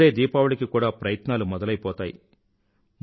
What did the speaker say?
ఇప్పుడే దీపావళికి కూడా ప్రయత్నాలు మొదలైపోతాయి